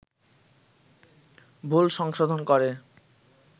ভুল সংশোধন করে